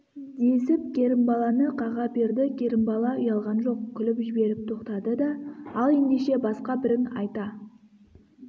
десіп керімбаланы қаға берді керімбала ұялған жоқ күліп жіберіп тоқтады да ал ендеше басқа бірің айта